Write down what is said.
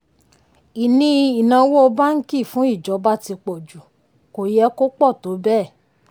ìní ináwó báńkì fún ìjọba ti pọ̀ jù; kò yẹ kó pọ̀ tó bẹ́ẹ̀.